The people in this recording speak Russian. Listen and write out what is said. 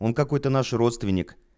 он какой-то наши родственник